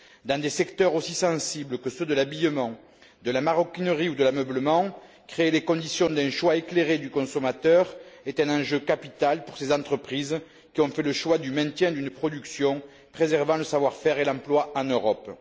Dans des secteurs aussi sensibles que ceux de l'habillement, de la maroquinerie ou de l'ameublement, créer les conditions d'un choix éclairé du consommateur est un enjeu capital pour ces entreprises qui ont fait le choix du maintien d'une production préservant le savoir faire et l'emploi en Europe.